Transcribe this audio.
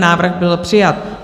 Návrh byl přijat.